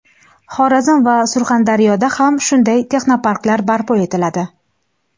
Xorazm va Surxondaryoda ham shunday texnoparklar barpo etiladi.